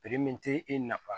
min tɛ e nafa